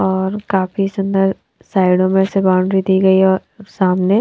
और काफी सुंदर साइडों में से बाउंड्री दी गई है और सामने।